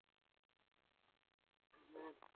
মো